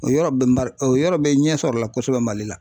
O yɔrɔ bɛ bari o yɔrɔ bɛ ɲɛsɔrɔ o la kosɛbɛ MALI la